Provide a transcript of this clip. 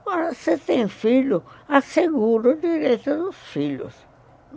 Agora, se tem filho, assegura o direito dos filhos.